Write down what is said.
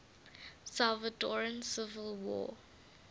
salvadoran civil war